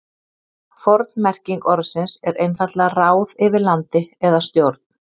forn merking orðsins er einfaldlega ráð yfir landi eða stjórn